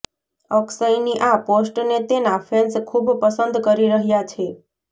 અક્ષયની આ પોસ્ટને તેના ફેન્સ ખૂબ પસંદ કરી રહ્યા છે